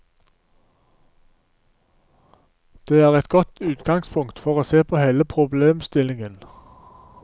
Det er et godt utgangspunkt for å se på hele problemstillingen.